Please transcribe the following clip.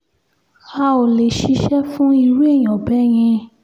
a ò lè ṣiṣẹ́ fún irú èèyàn bẹ́ẹ̀ yẹn